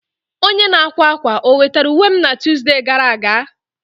Onye n'akwa akwa o wetara uwe m na Tọzdee gara aga?